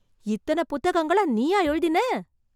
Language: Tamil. இத்தன புத்தகங்களை நீயா எழுதினே...